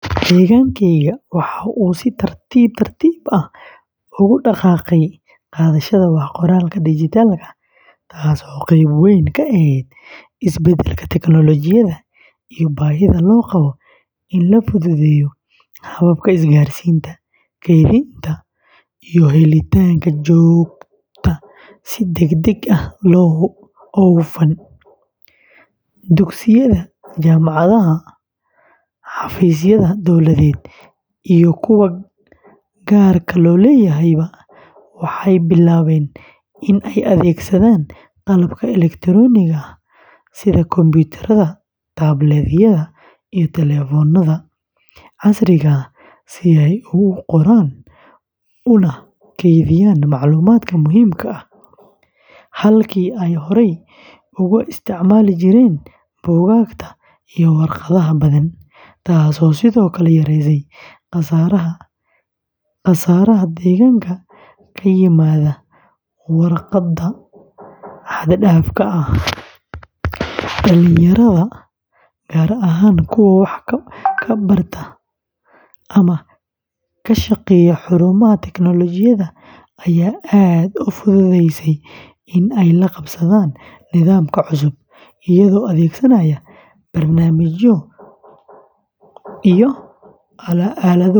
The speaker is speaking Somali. Deegaankayga waxa uu si tartiib tartiib ah ugu dhaqaaqay qaadashada wax-qoraalka dhijitaalka ah, taasoo qayb weyn ka ahayd isbeddelka tignoolajiyada iyo baahida loo qabo in la fududeeyo habka isgaarsiinta, kaydinta, iyo helitaanka xogta si degdeg ah oo hufan; dugsiyada, jaamacadaha, xafiisyada dowladeed iyo kuwa gaarka loo leeyahayba waxay bilaabeen in ay adeegsadaan qalabka elektaroonigga ah sida kombiyuutarada, tablet-yada iyo telefoonnada casriga ah si ay ugu qoraan una kaydiyaan macluumaadka muhiimka ah, halkii ay horay uga isticmaali jireen buugaagta iyo waraaqaha badan, taasoo sidoo kale yaraysay khasaaraha deegaanka ka yimaada waraaqda xad-dhaafka ah; dhalinyarada, gaar ahaan kuwa wax ka barta ama ka shaqeeya xarumaha tignoolajiyadda, ayaa aad u fududeysay in ay la qabsadaan nidaamkan cusub, iyagoo adeegsanaya barnaamijyo, iyo aalado kale.